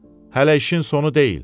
Hələ işin sonu deyil.